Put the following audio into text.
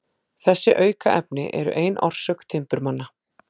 Þessi aukaefni eru ein orsök timburmanna.